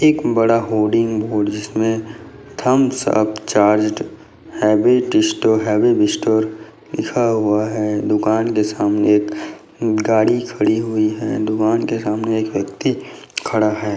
इसमें एक एक बड़ा होर्डिंग बोर्ड जिसमें थम्स अप चार्ज हेवी डिस्टोर हेवी विस्टोर लिखा हुआ है दुकान के सामने एक गाड़ी खड़ी हुई है दुकान के सामने एक व्यक्ति खड़ा है।